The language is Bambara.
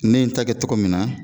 Ne n ta kɛ cogo min na